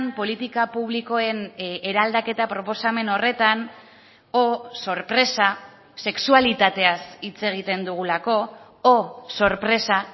politika publikoen eraldaketa proposamen horretan oh sorpresa sexualitateaz hitz egiten dugulako oh sorpresa